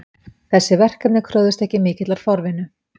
Þessi verkefni kröfðust ekki mikillar forvinnu